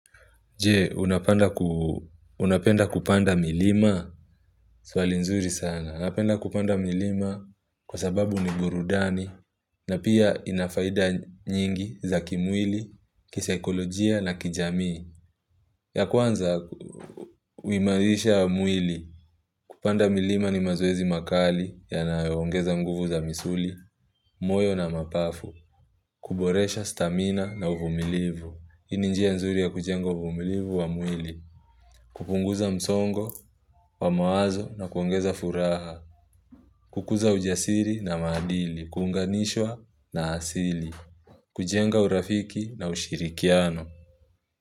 Jee, unapenda kupanda milima swali nzuri sana. Napenda kupanda milima kwa sababu ni burudani na pia ina faida nyingi za kimwili, kisaikolojia na kijami. Ya kwanza, uimarisha mwili kupanda milima ni mazoezi makali yanayoongeza nguvu za misuli, moyo na mapafu. Kuboresha stamina na uvumilivu. Hii ni njia nzuri ya kujenga uvumilivu wa mwili. Kupunguza msongo wa mawazo na kuongeza furaha. Kukuza ujasiri na maadili, kunganishwa na hasili. Kujenga urafiki na ushirikiano.